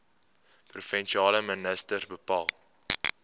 provinsiale minister bepaal